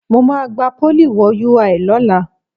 Mo máa gba Pólì wo UI lọ́la